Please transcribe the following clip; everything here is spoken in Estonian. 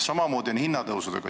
Samamoodi on hinnatõusudega.